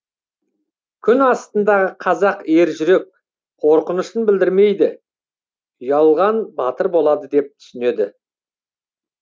күн астындағы қазақ ержүрек қорқынышын білдірмейді ұялған батыр болады деп түсінеді